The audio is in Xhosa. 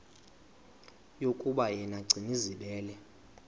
yokuba yena gcinizibele